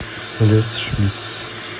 лес шмитц